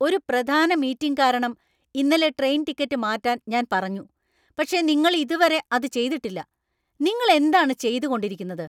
ഒരു പ്രധാന മീറ്റിംഗ് കാരണം ഇന്നലെ ട്രെയിൻ ടിക്കറ്റ് മാറ്റാന്‍ ഞാൻ പറഞ്ഞു, പക്ഷേ നിങ്ങൾ ഇതുവരെ അത് ചെയ്തിട്ടില്ല, നിങ്ങൾ എന്താണ് ചെയ്തു കൊണ്ടിരിക്കുന്നത്?